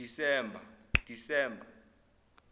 disemba